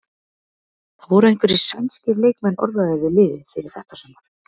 Það voru einhverjir sænskir leikmenn orðaðir við liðið fyrir þetta sumar?